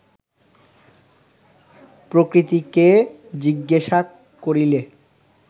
প্রকৃতিকে জিজ্ঞাসা করিলে